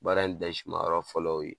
Baara in ma yɔrɔ fɔlɔ y'o ye